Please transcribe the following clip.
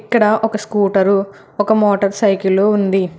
ఇక్కడ ఒక స్కూటరు ఒక మోటార్ సైకిలు ఉంది.